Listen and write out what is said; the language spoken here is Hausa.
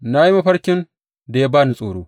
Na yi mafarkin da ya ba ni tsoro.